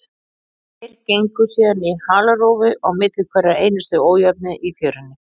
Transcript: Þeir gengu síðan í halarófu á milli hverrar einustu ójöfnu í fjörunni.